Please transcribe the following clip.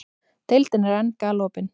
Deildin er enn galopin